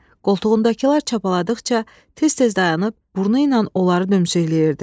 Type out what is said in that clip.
Qoltuğundakılar çapaladıqca tez-tez dayanıb burnu ilə onları dömsükləyirdi.